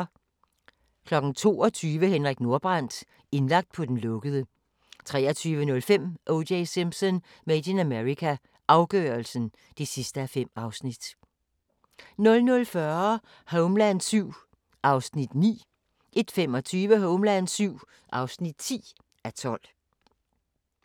22:00: Henrik Nordbrandt – indlagt på den lukkede 23:05: O.J. Simpson: Made in America – afgørelsen (5:5) 00:40: Homeland VII (9:12) 01:25: Homeland VII (10:12)